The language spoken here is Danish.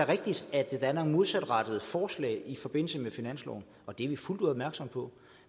rigtigt at der er nogle modsatrettede forslag i forbindelse med finansloven og det er vi fuldt ud opmærksomme på